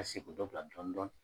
a se k'u dɔ bila dɔɔni dɔɔni.